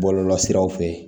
Bɔlɔlɔsiraw fe yen